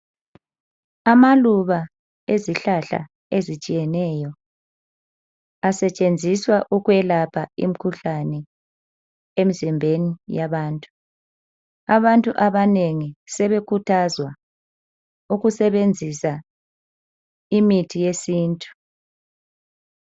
Amaluba ezihlahla ezitshiyeneyo asetshenziswa ukwelapha imikhuhlane emzimbeni yabantu. Abantu abanengi sebekhuthazwa ukusebenzisa imithi yesintu.